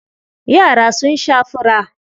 Yara sun sha fura.